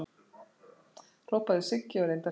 hrópaði Siggi og reyndi að hrinda